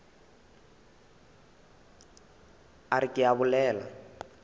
a re ke a bolela